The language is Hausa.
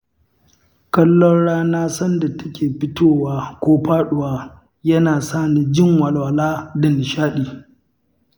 Kallon rana sanda take fitowa ko faɗuwa, yana sa ni jin walwala da nishaɗi.